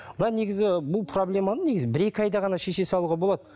мына негізі бұл проблеманы негізі бір екі айда ғана шеше салуға болады